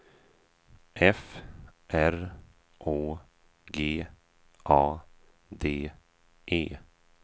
F R Å G A D E